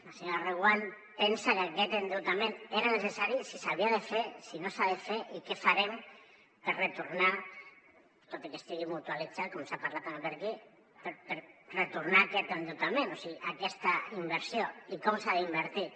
la senyora reguant pensa que aquest endeutament era necessari si s’havia de fer si no s’ha de fer i què farem per retornar tot i que estigui mutualitzat com s’ha parlat també per aquí aquest endeutament o sigui aquesta inversió i com s’ha d’invertir